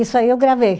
Isso aí eu gravei.